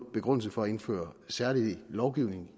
begrundelse for at indføre særlig lovgivning